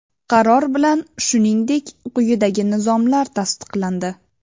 Qaror bilan shuningdek, quyidagi nizomlar tasdiqlandi:.